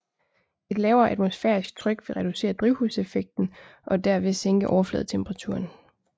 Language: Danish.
Et lavere atmosfærisk tryk vil reducere drivhuseffekten og derved sænke overfladetemperaturen